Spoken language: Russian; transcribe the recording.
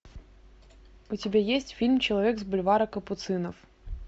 у тебя есть фильм человек с бульвара капуцинов